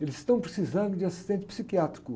Eles estão precisando de assistente psiquiátrico.